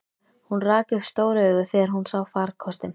Hún rak upp stór augu þegar hún sá farkostinn.